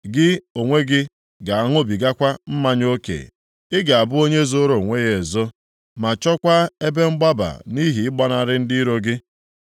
Gị onwe gị ga-aṅụbigakwa mmanya oke, + 3:11 Ga-adagbugharị dịka onye mmanya na-egbu ị ga-abụ onye zoro onwe ya ezo, ma chọkwa ebe mgbaba nʼihi ịgbanarị ndị iro gị.